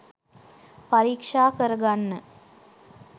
පරික්ෂා කරගන්න